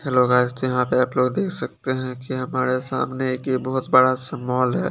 Hello guys तो यहाँ पे आप लोग देख सकते है कि हमारे सामने एक ये बहोत बड़ा सा मोल है।